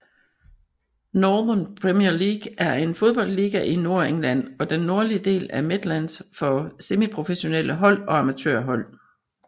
Northern Premier League er en fodboldliga i Nordengland og den nordlige del af Midlands for semiprofessionelle hold og amatørhold